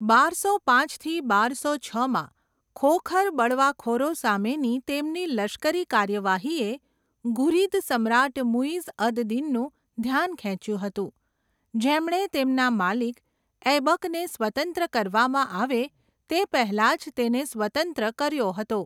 બારસો પાંચથી બારસો છમાં ખોખર બળવાખોરો સામેની તેમની લશ્કરી કાર્યવાહીએ ઘુરીદ સમ્રાટ મુઈઝ અદ દીનનું ધ્યાન ખેંચ્યું હતું, જેમણે તેમના માલિક ઐબકને સ્વતંત્ર કરવામાં આવે તે પહેલાં જ તેને સ્વતંત્ર કર્યો હતો.